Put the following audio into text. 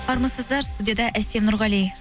армысыздар студияда әсем нұрғали